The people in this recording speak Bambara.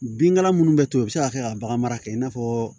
Binkala minnu bɛ to u bɛ se ka kɛ ka bagan mara kɛ i n'a fɔ